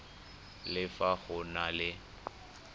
le fa go na le